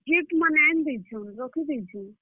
Gift ମାନେ ଆଏନ୍ ଦେଇଛନ୍ ରଖିଦେଇଛୁଁ।